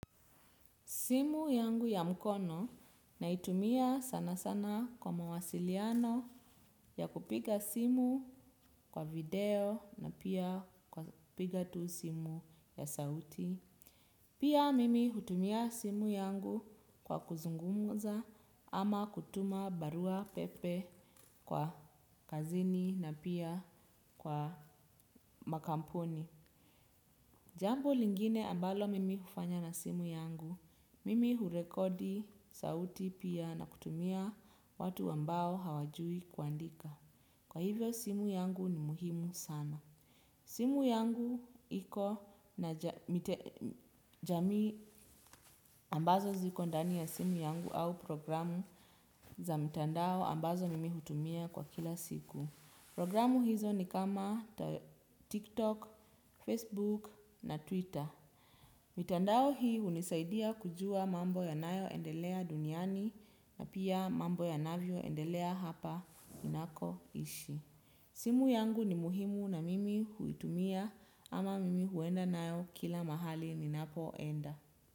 Simu yangu ya mkono naitumia sana sana kwa mawasiliano ya kupiga simu kwa video na pia kupiga tu simu ya sauti. Pia mimi hutumia simu yangu kwa kuzungumza ama kwa kutuma baruapepe kwa kazini na pia kwa makampuni. Jambo lingine ambalo mimi hufanya na simu yangu. Mimi hurekodi sauti pia na kutumia watu ambao hawajui kuandika. Kwa hivyo simu yangu ni muhimu sana. Simu yangu iko na jamii ambazo ziko ndani ya simu yangu au programu za mitandao ambazo mimi hutumia kwa kila siku. Programu hizo ni kama TikTok, Facebook na Twitter. Mitandao hii hunisaidia kujua mambo yanayo endelea duniani na pia mambo yanavyo endelea hapa ninakoishi. Simu yangu ni muhimu na mimi huitumia ama mimi huenda nayo kila mahali ninapoenda.